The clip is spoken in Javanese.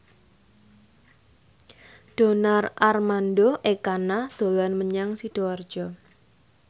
Donar Armando Ekana dolan menyang Sidoarjo